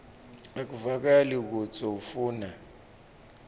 akuvakali kutsi ufuna